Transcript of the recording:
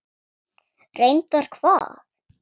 Reyndar hvað?